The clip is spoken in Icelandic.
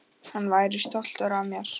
Hann væri stoltur af mér.